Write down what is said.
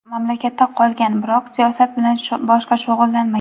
Mamlakatda qolgan, biroq siyosat bilan boshqa shug‘ullanmagan.